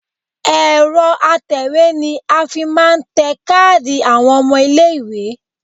Ẹ̀rọ atẹ̀wé ni a fi máa ń tẹ káàdì àwọn ọmọ ilé-ìwé